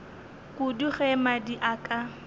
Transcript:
kudu ge mmadi a ka